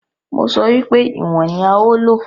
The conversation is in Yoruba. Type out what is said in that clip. Mo sọ wípé ìwọ̀n ní a ó lò.